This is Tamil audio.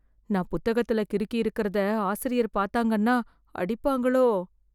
நான் புத்தகத்துல கிறுக்கியிருக்கறதை ஆசிரியர் பாத்தாங்கன்னா, அடிப்பாங்களோ..